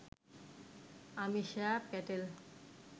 Amisha Patel